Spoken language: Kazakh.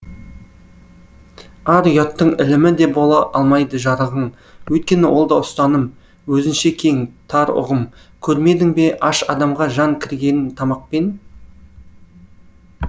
ар ұяттың ілімі де бола алмайды жарығың өйткені ол да ұстаным өзінше кең тар ұғым көрмедің бе аш адамға жан кіргенін тамақпен